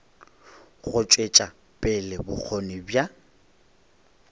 go tšwetša pele bokgoni bja